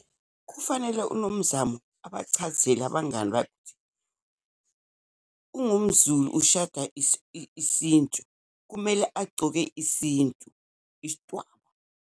Kufanele uNomzamo abachazele abangani bakhe ungumZulu, ushada isintu, kumele agcoke isintu, isidwaba.